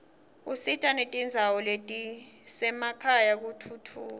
usita netindzawo letisemakhaya kutfutfuka